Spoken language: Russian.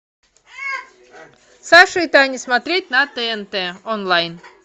саша и таня смотреть на тнт онлайн